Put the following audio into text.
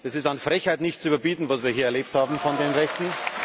Es ist an Frechheit nicht zu überbieten, was wir hier erlebt haben von den Rechten.